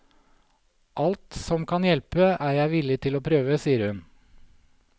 Alt som kan hjelpe, er jeg villig til å prøve, sier hun.